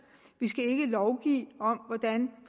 vi skal ikke lovgive om hvordan